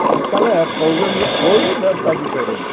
Naquela época, hoje hoje né está diferente.